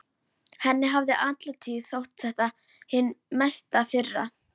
Henni hafði alla tíð þótt þetta hin mesta firra.